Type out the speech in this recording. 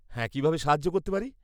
-কীভাবে সাহায্য করতে পারি?